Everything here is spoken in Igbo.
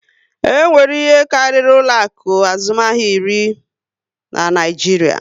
E nwere ihe karịrị ụlọ akụ azụmahịa iri na Naịjiria